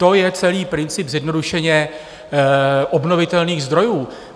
To je celý princip, zjednodušeně, obnovitelných zdrojů.